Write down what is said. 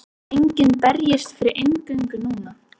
Enginn berjist fyrir inngöngu núna.